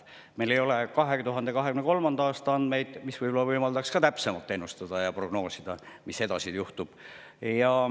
Meil ei ole 2023. aasta andmeid, mis võib-olla võimaldaks ka täpsemalt ennustada, prognoosida, mis edasi juhtub.